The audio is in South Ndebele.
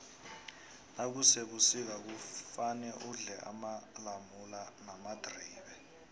nakusebusika kufane udle amalamula namadribe